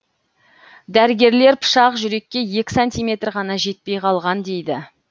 дәрігерлер пышақ жүрекке екі сантиметр ғана жетпей қалған дейді